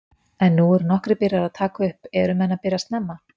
En nú eru nokkrir byrjaðir að taka upp, eru menn að byrja snemma?